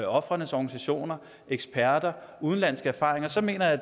ofrenes organisationer og eksperter og udenlandske erfaringer så mener jeg